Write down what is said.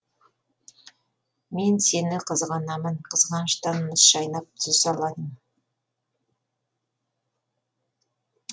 мен сені қызғанамын қызғаныштан мұз шайнап тұз жаладым